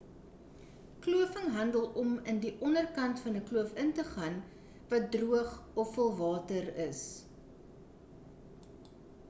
kloofing handel om in die onderkant van 'n kloof in te gaan wat droog of vol water is